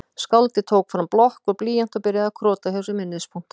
Skáldið tók fram blokk og blýant og byrjaði að krota hjá sér minnispunkta